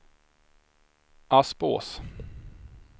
Aspås